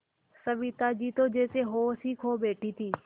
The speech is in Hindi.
सविता जी तो जैसे होश ही खो बैठी थीं